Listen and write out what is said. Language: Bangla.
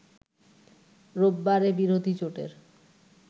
রোববারে বিরোধী জোটের